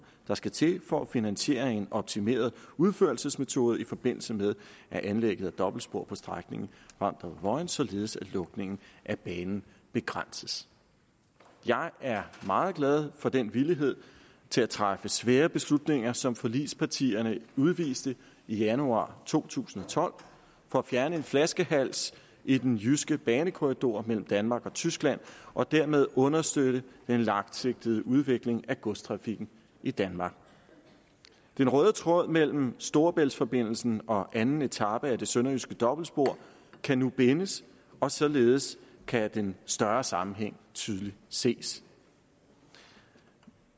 der skal til for at finansiere en optimeret udførselsmetode i forbindelse med anlægget af dobbeltsporet på strækningen vamdrup vojens således at lukningen af banen begrænses jeg er meget glad for den villighed til at træffe svære beslutninger som forligspartierne udviste i januar to tusind og tolv for at fjerne en flaskehals i den jyske banekorridor mellem danmark og tyskland og dermed understøtte den langsigtede udvikling af godstrafikken i danmark den røde tråd mellem storebæltsforbindelsen og anden etape af det sønderjyske dobbeltspor kan nu bindes og således kan den større sammenhæng tydeligt ses